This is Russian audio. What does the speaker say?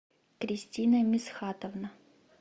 кристина мисхатовна